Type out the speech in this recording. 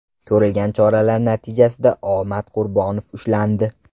Ko‘rilgan choralar natijasida O. Matqurbonov ushlandi.